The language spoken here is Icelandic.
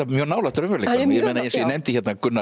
mjög nálægt raunveruleikanum eins og ég nefndi hérna Gunnar